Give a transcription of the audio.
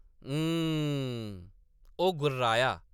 “हम्म !” ओह्‌‌ गुर्राया ।